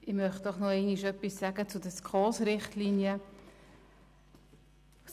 Ich möchte erneut etwas zu den SKOS-Richtlinien sagen.